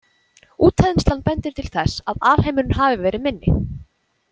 Útþenslan bendir til þess að alheimurinn hafi verið minni.